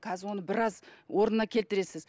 қазір оны біраз орнына келтіресіз